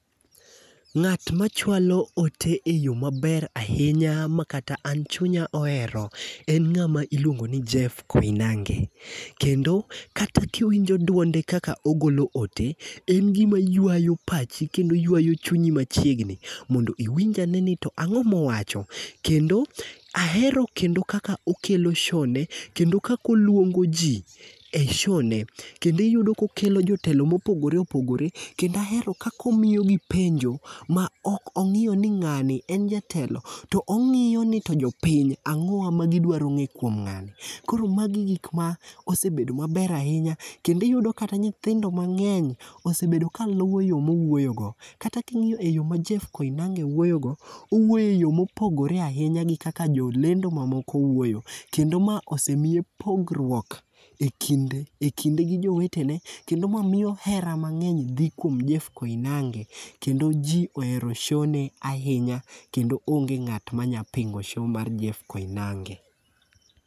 Ngát machwalo ote e yo maber ahinya ma kata an chunya ohero, en ngáma iluongo ni Jeff Koinange. Kendo kata kiwinjo duonde kata ogolo ote, en gima ywayo pachi kendo ywayo chunyi machiegni, mondo iwinjane ni to angó mowacho. Kendo, ahero kendo kaka okelo showne kendo kaka oluongo ji ei showne. Kendo iyudo kokelo jotelo mopogore opogore. Kendo ahero kaka omiyogi penjo ma ok ongíyo ni ngáni en jatelo. To ongíyoni to jopiny, angówa magidwaro ngéyo kuom ngáni. Koro magi gik ma osebedo maber ahinya, kendo iyudo kata nyithindo mangény, osebedo kaluwo yo mowuoyogo. Kata kingíyo e yo ma Jeff Koinange wuoyo go, owuoyo e yo mopogore ahinya gi kaka jolendo ma moko wuoyogo. Kendo ma osemiye pogruok e kind, e kinde gi jowetene, kendo ma miyo hera mangény dhi kuom Jeff Koinange, kendo ji ohero showne ahinya. Kendo onge ngát manyalo pingo show mar Jeff Koinange.